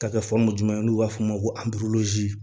Ka kɛ juma ye n'u b'a f'o ma